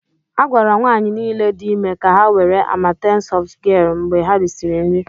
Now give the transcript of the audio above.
A gwara nwanyị niile dị ime ka ha were Amatem softgel mgbe ha risịrị nri.